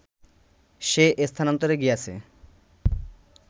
সে স্থানান্তরে গিয়াছে